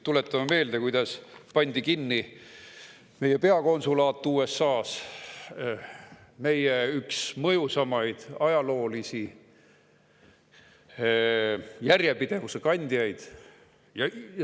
Tuletame meelde, kuidas pandi kinni meie peakonsulaat USA-s, meie üks mõjusamaid ajaloolise järjepidevuse kandjaid.